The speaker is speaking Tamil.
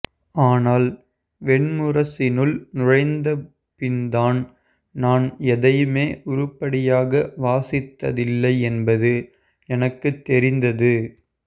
ஆனால் வெண்முரசினுள் நுழைந்த பின்தான் நான் எதையுமே உருப்படியாக வாசித்ததில்லை என்பது எனக்குத் தெரிந்தது